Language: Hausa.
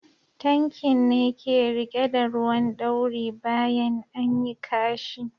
Tankin ne ke rike da ruwan ɗauri bayan anyi ƙashi.